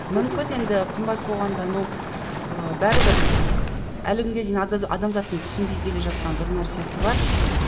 мүмкін енді қымбат болғанда но ы бәрібір ы әлі күнге дейін адамзаттың түсінбей келе жатқан бір нәрсесі бар